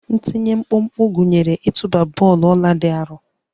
Ntinye mkpụmkpụ gụnyere ịtụba bọọlụ ọla dị arọ